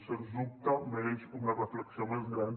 sens dubte mereix una reflexió més gran